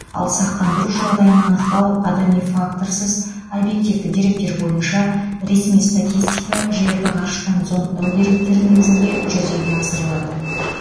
ал сақтандыру жағдайын анықтау адами факторсыз объективті деректер бойынша ресми статистика жерді ғарыштан зондтау деректері негізінде жүзеге асырылады